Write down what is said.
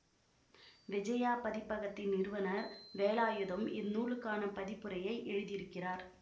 விஜயா பதிப்பகத்தின் நிறுவனர் வேலாயுதம் இந்நூலுக்கான பதிப்புரையை எழுதியிருக்கிறார்